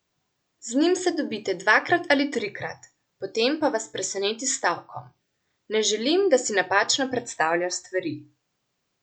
Z njim se dobite dvakrat ali trikrat, potem pa vas preseneti s stavkom: ''Ne želim, da si napačno predstavljaš stvari.